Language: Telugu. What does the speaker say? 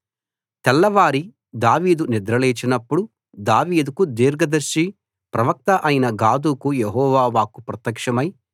తెల్లవారి దావీదు నిద్ర లేచినప్పుడు దావీదుకు దీర్ఘ దర్శి ప్రవక్త అయిన గాదుకు యెహోవా వాక్కు ప్రత్యక్షమై